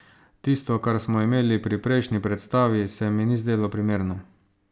Tisto kar smo imeli pri prejšnji predstavi se mi ni zdelo primerno.